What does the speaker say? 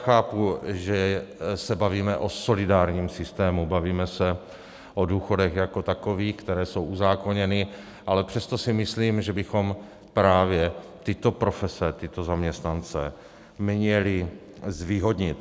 Chápu, že se bavíme o solidárním systému, bavíme se o důchodech jako takových, které jsou uzákoněny, ale přesto si myslím, že bychom právě tyto profese, tyto zaměstnance, měli zvýhodnit.